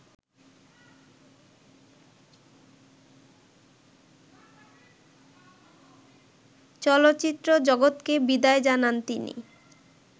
চলচ্চিত্র জগতকে বিদায় জানান তিনি